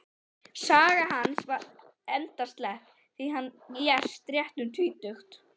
Saga hans var endaslepp, því hann lést rétt um tvítugt.